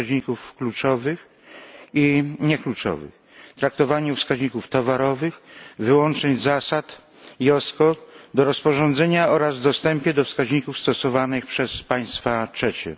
wskaźników kluczowych i niekluczowych, traktowaniu wskaźników towarowych, wyłącznych zasad IOSCO do rozporządzenia oraz w dostępie do wskaźników stosowanych przez państwa trzecie.